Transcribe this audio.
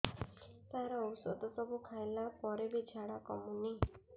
ସାର ଔଷଧ ସବୁ ଖାଇଲା ପରେ ବି ଝାଡା କମୁନି